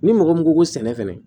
Ni mɔgɔ min ko ko sɛnɛ fɛnɛ